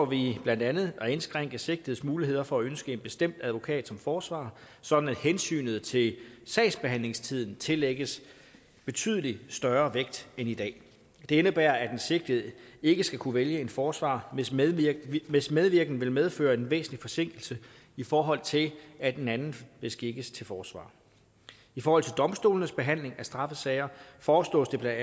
vi blandt andet at indskrænke sigtedes muligheder for at ønske en bestemt advokat som forsvarer sådan at hensynet til sagsbehandlingstiden tillægges betydelig større vægt end i dag det indebærer at den sigtede ikke skal kunne vælge en forsvarer hvis medvirken hvis medvirken vil medføre en vis forsinkelse i forhold til at en anden beskikkes til forsvarer i forhold til domstolenes behandling af straffesager foreslås det bla at